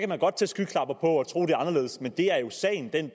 man godt tage skyklapper på og tro at det er anderledes men det er jo sagen den